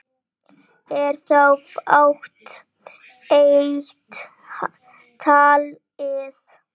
Er þá fátt eitt talið.